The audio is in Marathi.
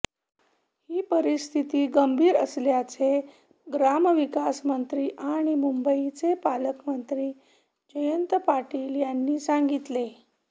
ही परिस्थिती गंभीर असल्याचे ग्रामविकासमंत्री आणि मुंबईचे पालक मंत्री जयंत पाटील यांनी सांगितले